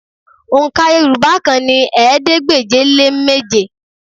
Òǹkà Yorùbá kan ni ẹ̀ẹ́dégbèje-lé-méje